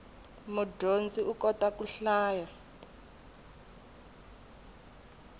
mudyondzi u kota ku hlaya